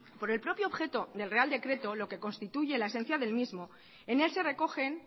por el propio objeto del real decreto lo que constituye la esencia del mismo en él se recogen